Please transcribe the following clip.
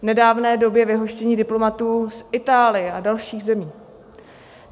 V nedávné době vyhoštění diplomatů z Itálie a dalších zemí.